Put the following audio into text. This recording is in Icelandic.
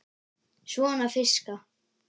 Svona fiska.